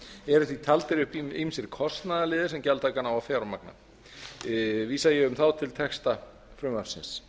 eru því taldir upp ýmsir kostnaðarliðir sem gjaldtakan á að fjármagna vísa ég um þá til texta frumvarpsins